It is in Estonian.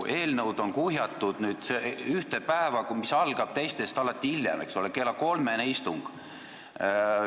Eelnõud on nüüd kuhjatud ühte päeva, kui istung algab alati hiljem kui teistel päevadel, kell kolm.